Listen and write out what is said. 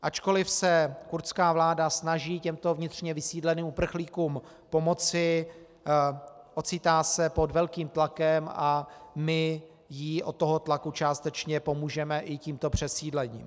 Ačkoliv se kurdská vláda snaží těmto vnitřně vysídleným uprchlíkům pomoci, ocitá se pod velkým tlakem a my jí od tohoto tlaku částečně pomůžeme i tímto přesídlením.